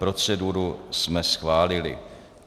Proceduru jsme schválili.